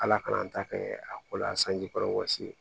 Ala kana an ta kɛ a ko la sanji kɔrɔ wɔsi ye